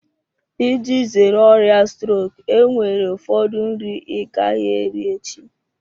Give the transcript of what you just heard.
Iji zere ọrịa strok enwere ụfọdụ nri ị gaghị eri echi.